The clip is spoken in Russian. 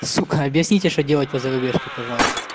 сука объясните что делать по зарубежке пожалуйста